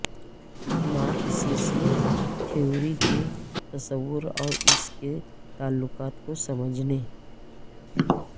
مارکسیسی theory کے تصور اور اس کے تعلقات کو سمجھنے